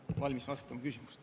Olen valmis vastama küsimustele.